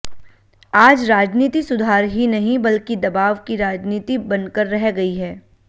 आज राजनीति सुधार ही नहीं बल्कि दबाव की राजनीति बनकर रह गई है